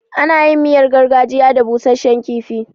Ana yin miyar gargajiya da busashshen kifi.